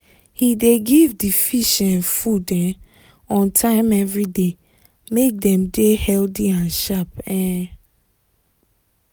he dey give the fish um food um on time every day make dem dey healthy and sharp um